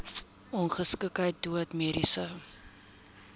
ongeskiktheid dood mediese